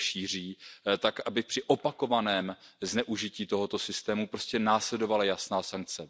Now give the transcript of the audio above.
je šíří, tak aby při opakovaném zneužití tohoto systému prostě následovala jasná sankce.